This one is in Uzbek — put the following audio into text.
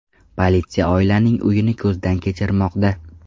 Politsiya oilaning uyini ko‘zdan kechirmoqda.